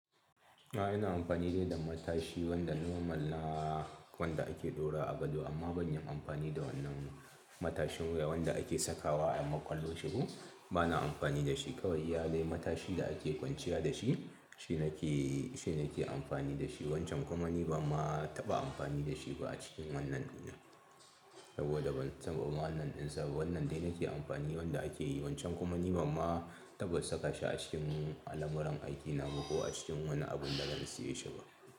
A'a, ina amfani dai da matashi wanda normal na wanda ake ɗora a gado amma ban yi amfani da wannan matashin wuya wanda ake sakawa a makwalloshe ko. Bana amfani da shi kawai iya dai matashi da ake kwanciya da shi, shi nake, shi nake amfani da shi wancan kuma ni ba ma taba amfani da shi ba a cikin wannan duniya. Saboda ban saba wa wannan ɗinsa, wannan dai nake amfani wanda ake yi, wancan kuma ni ban ma taɓa saka shi a cikin alamuran aikina ba ko a cikin wani abun da zan siye shi ba.